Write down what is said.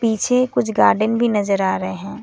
पीछे कुछ गार्डन भी नजर आ रहे हैं।